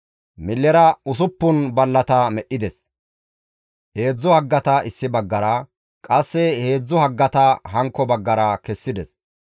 Millera usuppun ballata medhdhides; heedzdzu haggata issi baggara, qasse heedzdzu haggata hankko baggara kessides.